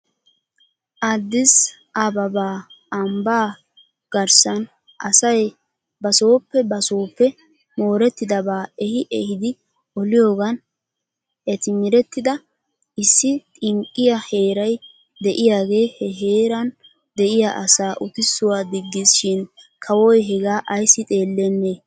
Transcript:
Addis ababa ambbaa garssan asay basooppe basooppe moorettidabaa ehi ehidi oliyoogan etmrettida issi xinqqiyaa heeray de'iyaagee he heeran diyaa asaa utissuwaa diggis shin kawoy hegaa ayssi xeelenee?